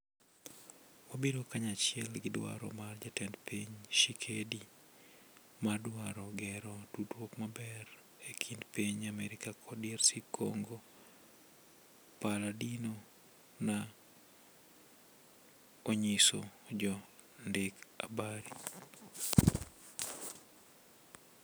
"wabiro kanyachiel gi dwaro mar jatend piny Tshisekedi mar dwaro gero tudruok maber e kind piny America kod DRC Congo," Palladino na onyiso jo ndik habari